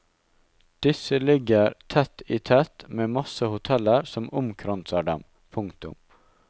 Disse ligger tett i tett med masse hoteller som omkranser dem. punktum